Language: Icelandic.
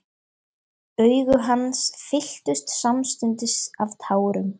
Augu hans fylltust samstundis af tárum.